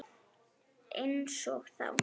Einsog þá.